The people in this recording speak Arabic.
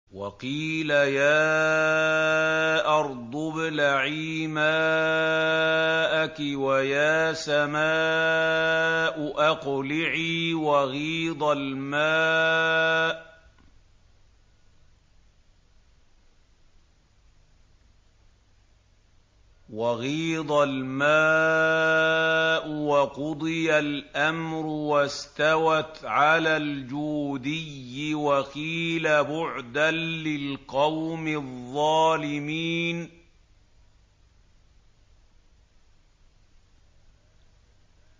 وَقِيلَ يَا أَرْضُ ابْلَعِي مَاءَكِ وَيَا سَمَاءُ أَقْلِعِي وَغِيضَ الْمَاءُ وَقُضِيَ الْأَمْرُ وَاسْتَوَتْ عَلَى الْجُودِيِّ ۖ وَقِيلَ بُعْدًا لِّلْقَوْمِ الظَّالِمِينَ